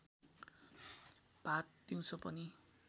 भात दिउँसो पनि